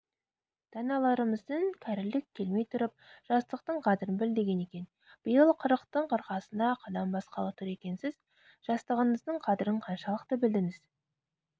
даналарымыз кәрілік келмей тұрып жастықтың қадірін біл деген екен биыл қырықтың қырқасына қадам басқалы тұр екенсіз жастығыңыздың қадірін қаншалықты білдіңіз